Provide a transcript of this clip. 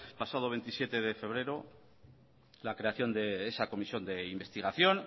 pasado veintisiete de febrero la creación de esa comisión de investigación